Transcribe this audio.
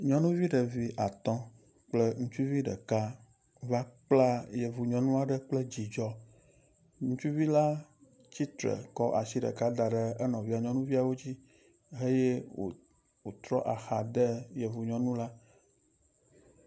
Nyɔnuvi ɖevi atɔ̃ kple ŋutsuvi ɖeka va kpla yevu nyɔnu aɖe kple dzidzɔ. Ŋutsuvi la tsitre kɔ asi ɖeka da ɖe enɔvia nyɔnuviawo dzi eye wòtrɔ axa de yevu nyɔnu la.